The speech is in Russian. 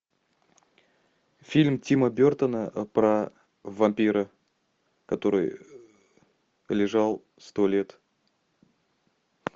фильм тима бертона про вампира который лежал сто лет